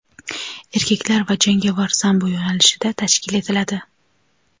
erkaklar va jangovar sambo yo‘nalishida tashkil etiladi.